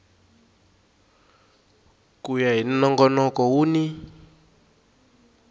ku ya hi nongonoko wun